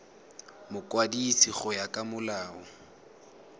mokwadisi go ya ka molao